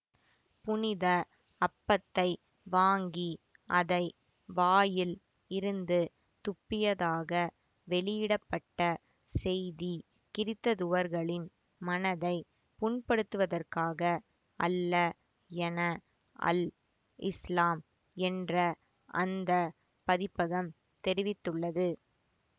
புனித அப்பத்தை வாங்கி அதை வாயில் இருந்து துப்பியதாக வெளியிட பட்ட செய்தி கிறித்ததுவர்களின் மனதை புண்படுத்துவதற்காக அல்ல என அல் இஸ்லாம் என்ற அந்த பதிப்பகம் தெரிவித்துள்ளது